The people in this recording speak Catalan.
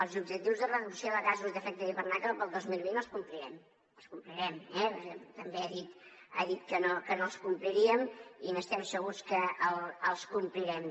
els objectius de reducció de gasos d’efecte d’hivernacle per al dos mil vint els complirem els complirem eh també ha dit que no els compliríem i estem segurs que els complirem